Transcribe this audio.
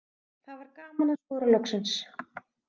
Það var gaman að skora loksins.